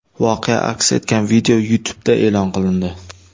Voqea aks etgan video YouTube’da e’lon qilindi .